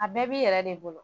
A bɛɛ b'i yɛrɛ de bolo